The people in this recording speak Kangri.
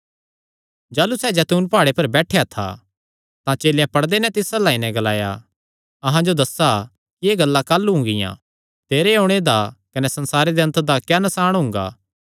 जाह़लू सैह़ जैतून प्हाड़े पर बैठेया था तां चेलेयां पड़दे नैं तिस अल्ल आई नैं ग्लाया अहां जो दस्सा कि एह़ गल्लां काह़लू हुंगियां तेरे ओणे दा कने संसारे दे अन्त दा क्या नसाण हुंगा